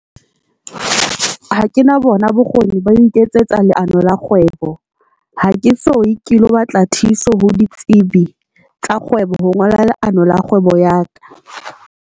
Ha ke na bona bokgoni, ba ho iketsetsa leano la kgwebo, ha ke soye ke lo batla thuso ho ditsebi tsa kgwebo ho ngola leano la kgwebo ya ka.